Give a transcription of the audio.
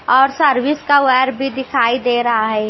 और सर्विस का वायर भीदिखाई दे रहा है।